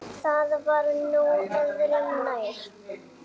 Það var nú öðru nær.